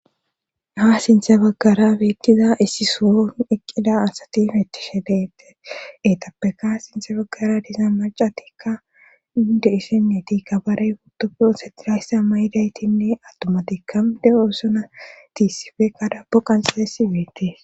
Ha sinthe baggara beettiza issisoon eqqida asatin ettishe deette eetappeka sinthe baggara disa macatikka inde hissenneti ka barey utofoo setirayssa mayidaytinne attumatikka de'oosona tiissifekkada bo qanxalesi beetties.